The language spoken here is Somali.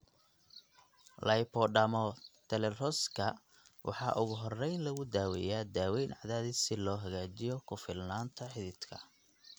Lipodermatosclerosiska waxaa ugu horrayn lagu daweeyaa daawayn cadaadis si loo hagaajiyo ku filnaanta xididka.